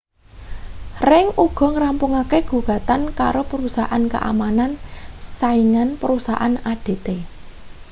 ring uga ngrampungake gugatan karo perusahaan keamanan saingan perusahaan adt